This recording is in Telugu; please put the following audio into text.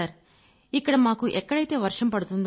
అవును సర్ | ఇక్కడ మాకు ఎక్కడైతే వర్షం